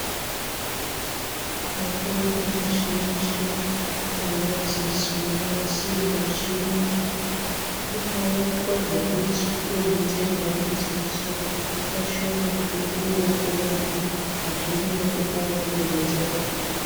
Mutombo muzhinji wemadziso unonasirwa wechiyungu unoitwa zvekudonhodzerwa mudziso, kashoma kuti upuwe wokumwa, kazhinji unotopuwa wokudonhodzerawo.